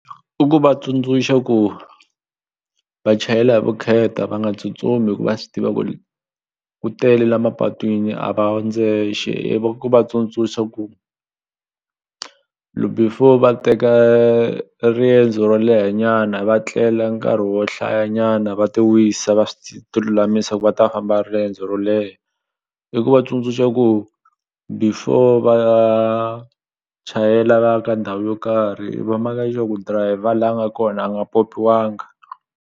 I ku va tsundzuxa ku va chayela hi vukheta va nga tsutsumi hi ku va swi tiva ku ri ku tele la mapatwini a va ndzexe ku va tsundzuxa ku before va teka riendzo ro lehanyana va tlela nkarhi wo hlayanyana va ti wisa va ti lulamisa ku va ta famba riendzo ro leha i ku va tsundzuxa ku before va chayela va ya ka ndhawu yo karhi va maka sure ku dirayivha la a nga ko a nga pyopyiwanga.